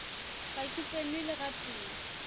ga ke tsenwe le gatee